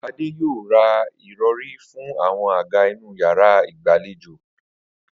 Adé yóò ra ìro̩rí fún àwo̩n àga inú yàrá ìgbàlejò